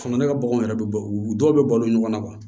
Fana ne ka baganw yɛrɛ bɛ bɔ u dɔw bɛ balo ɲɔgɔn na